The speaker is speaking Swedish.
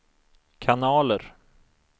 kanaler